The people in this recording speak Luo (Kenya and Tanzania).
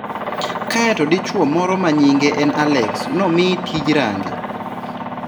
Kae to dichuo moro ma nyinge en Alex nomii tij range.